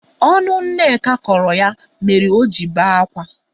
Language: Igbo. Ọnụ Nneka kọrọ ya mere oji bee akwa.